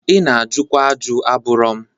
Ị na-ajụkwa ajụ, abụrụ m.